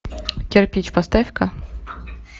кирпич поставь ка